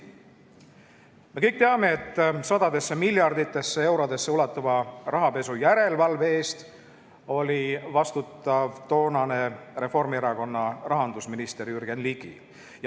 Me kõik teame, et sadadesse miljarditesse eurodesse ulatuva rahapesu järelevalve eest oli vastutav toonane Reformierakonna rahandusminister Jürgen Ligi.